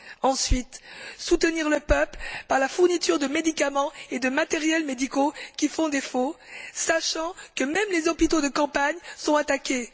Ensuite soutenir le peuple par la fourniture de médicaments et de matériels médicaux qui font défaut, sachant que même les hôpitaux de campagne sont attaqués.